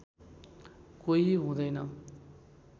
कोही हुँदैन